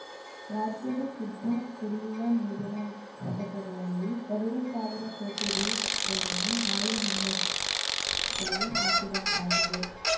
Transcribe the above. ರಾಜ್ಯದ ಶುದ್ಧ ಕುಡಿಯುವ ನೀರಿನ ಘಟಕಗಳಲ್ಲಿ ಎರಡು ಸಾವಿರ ಕೋಟಿ ರುಗಳನ್ನು ಹಾಳು ಹೊಂಡದಲ್ಲಿ ಹಾಕಿದಂತಾಗಿದೆ